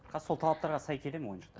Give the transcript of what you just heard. қазір сол талаптарға сай келе ме ойыншықтар